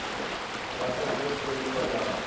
vha a songo tholiwa nga